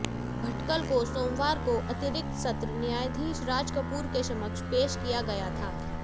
भटकल को सोमवार को अतिरिक्त सत्र न्यायाधीश राज कपूर के समक्ष पेश किया गया था